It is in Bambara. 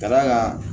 Ka d'a kan